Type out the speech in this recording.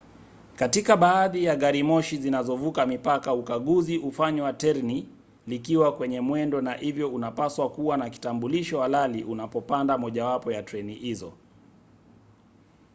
katika baadhi ya garimoshi zinazovuka mipaka ukaguzi hufanywa terni likiwa kwenye mwendo na hivyo unapaswa kuwa na kitambulisho halali unapopanda mojawapo ya treni hizo